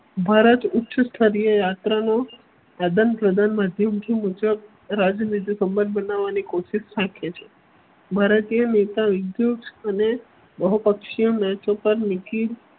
ભારત ઉચ્ચસ્તરીય યાત્રાનો આદાન-પ્રદાન માધ્યમથી મુજબ રાજ્યનીતિ સંબંધ બનાવવાની કોશિશ શક્ય છે. ભારતીય નેતા વિદ્યુત અને બહુપક્ષીઓ